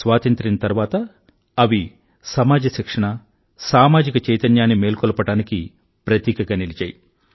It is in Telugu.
స్వాతంత్రం తరువాత అవి సమాజ శిక్షణ సామాజిక చైతన్యాన్ని మేల్కొలిపడానికి ప్రతీకగా నిలిచాయి